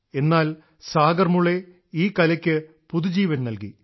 എന്നാൽ സാഗർമുളെ ഈ കലക്ക് പുതുജീവൻ നല്കി